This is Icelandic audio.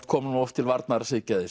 kom nú oft til varnar